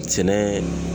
Sɛnɛ